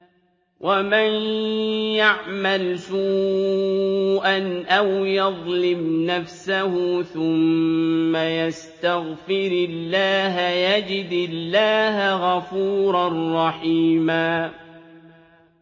وَمَن يَعْمَلْ سُوءًا أَوْ يَظْلِمْ نَفْسَهُ ثُمَّ يَسْتَغْفِرِ اللَّهَ يَجِدِ اللَّهَ غَفُورًا رَّحِيمًا